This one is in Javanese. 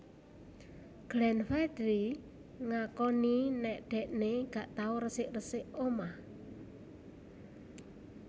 Glenn Fredly ngakoni nek dhekne gak tau resik resik omah